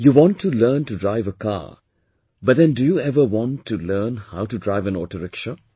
You want to learn to drive a car but then do you ever want to learn how to drive an autorickshaw